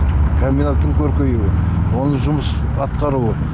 комбинаттың көркеюі оның жұмыс атқаруы